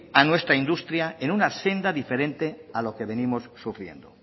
a nuestra industria en una senda diferente a lo que venimos sufriendo